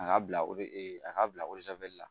A ka bila a k'a bila